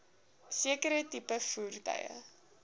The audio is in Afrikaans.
sekere tipe voertuie